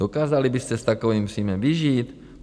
Dokázali byste s takovým příjmem vyžít?